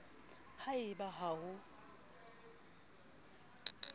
ha e ba ha ho